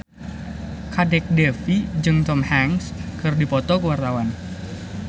Kadek Devi jeung Tom Hanks keur dipoto ku wartawan